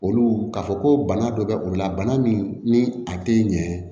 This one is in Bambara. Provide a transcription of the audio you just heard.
Olu ka fɔ ko bana dɔ bɛ olu la bana min ni a tɛ ɲɛ